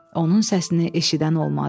Onun səsini eşidən olmadı.